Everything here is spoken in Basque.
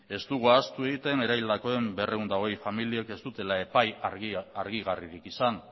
ez dugu ahaztu egiten ere berrehun eta hogei familiek ez dute epai argigarririk izan